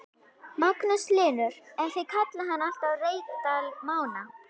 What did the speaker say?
Magnús Hlynur: En þið kallið hann alltaf Reykdal Mána?